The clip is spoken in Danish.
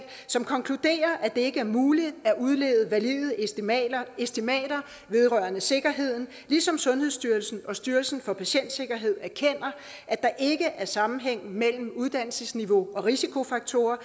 som konkluderer at det ikke er muligt at udlede valide estimater estimater vedrørende sikkerheden ligesom sundhedsstyrelsen og styrelsen for patientsikkerhed erkender at der ikke er sammenhæng mellem uddannelsesniveau og risikofaktorer